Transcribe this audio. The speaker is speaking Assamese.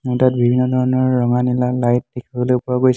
ইয়াতে বিভিন্ন ধৰণৰ ৰঙা নীলা লাইট দেখিবলৈ পোৱা গৈছে।